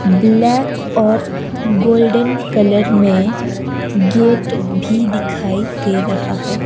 Black और golden colour में gate भी दिखाई दे रहा है।